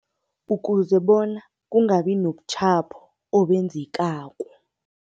Ukuze bona kungabi nobutjhapho obenzekako.